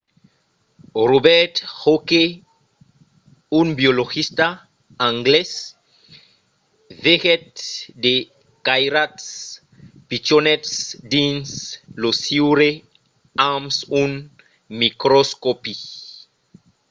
robert hooke un biologista anglés vegèt de cairats pichonets dins lo siure amb un microscòpi